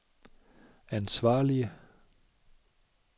ansvarlige